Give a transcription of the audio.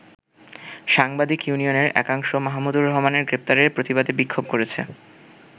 সাংবাদিক ইউনিয়নের একাংশ মাহমুদুর রহমানের গ্রেপ্তারের প্রতিবাদে বিক্ষোভ করেছে।